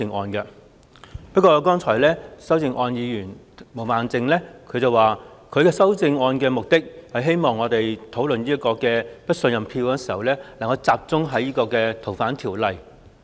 不過，毛孟靜議員剛才發言指出，她提出修正案的目的，是希望我們討論"對行政長官投不信任票"的議案時能夠集中在修訂《逃犯條例》一事上。